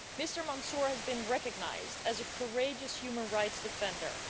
Mr Mansoor has been recognised as a courageous human rights defender.